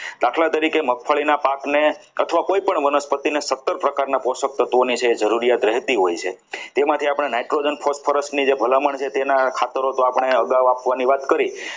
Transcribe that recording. મગફળીના પાકને અથવા કોઈપણ વનસ્પતિને સારા પ્રકારના પોષક તત્વોની છે એ જરૂરિયાત રહેતી હોય છે તેમાંથી આપણ Nitrogen phosphorus ની જે ભલામણ છે તેના ખાતરો તો આપણી અગાઉ નાખવાની વાત કરી.